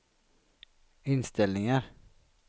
inställningar